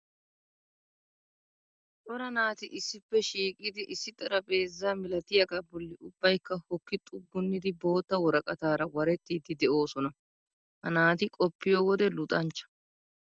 Cora naati issippe shiiqidi issi xarapheezzaa milatiyagaa bolli ubbaykka hokki xuggunnidi bootta woraqataara warettiiddi de'oosona. Ha naati qoppiyo wode luxanchcha.